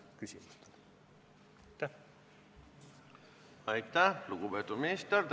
Aitäh, lugupeetud minister!